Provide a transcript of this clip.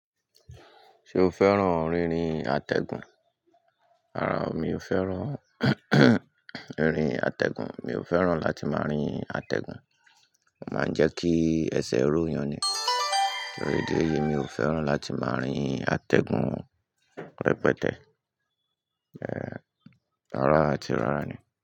Ṣé o fẹ́ràn rírin àtẹ̀gùn? Rárá, mi ò fẹ́ràn rírin àtẹ̀gùn. Mi ò fẹ́ràn láti máa rin àtẹ̀gùn. Ó máa ń jẹ́ kí ẹsẹ̀ ró yan ni. Kí ló dé ye? Mi ò fẹ́ràn láti máa rin àtẹ̀gùn rẹpẹtẹ. Ẹ̀, àrá àti rárá ni.